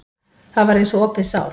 Það var eins og opið sár.